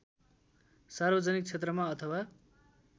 सार्वजनिक क्षेत्रमा अथवा